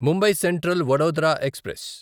Mumbai central Vadodara express